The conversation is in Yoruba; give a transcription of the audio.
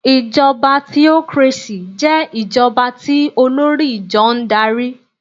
Ìjọba theocracy jẹ́ ìjọba tí olórí ìjọ n darí